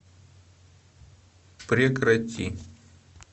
прекрати